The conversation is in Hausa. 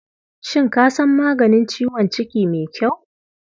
Shin ka san maganin ciwon ciki mai kyau?